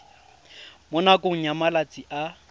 mo nakong ya malatsi a